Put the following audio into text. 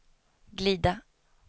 glida